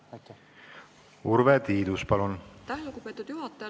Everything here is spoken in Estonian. Aitäh, lugupeetud juhataja!